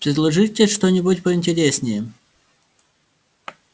предложите что-нибудь поинтереснее